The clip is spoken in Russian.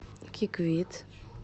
киквит